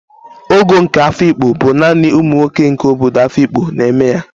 Ogo nke Afikpo bụ naanị ụmụ nwoke nke obodo Afikpo na-eme ya